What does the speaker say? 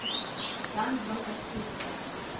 dan dwing uitvoerende